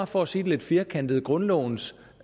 for at sige det lidt firkantet var grundlovens